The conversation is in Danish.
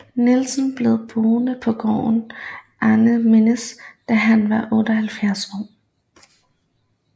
Nielsen blev boede på gården Arentsminde til han var 87 år